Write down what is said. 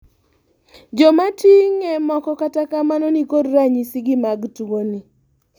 jomating'e moko kata kamano nikod ranyisi gi mag tuo ni